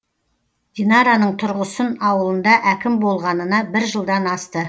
динараның тұрғысын ауылында әкім болғанына бір жылдан асты